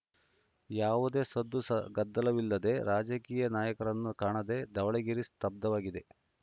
ಯಾವುದೇ ಸದ್ದು ಸ ಗದ್ದಲವಿಲ್ಲದೆ ರಾಜಕೀಯ ನಾಯಕರನ್ನು ಕಾಣದೆ ಧವಳಗಿರಿ ಸ್ತಬ್ಧವಾಗಿದೆ